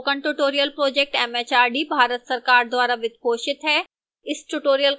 spoken tutorial project mhrd Bharat सरकार द्वारा वित्त पोषित है